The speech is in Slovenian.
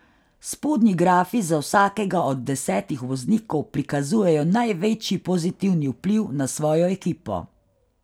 Spodnji grafi za vsakega od desetih voznikov prikazujejo največji pozitivni vpliv na svojo ekipo.